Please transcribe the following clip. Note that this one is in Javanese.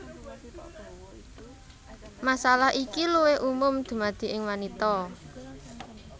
Masalah iki luwih umum dumadi ing wanita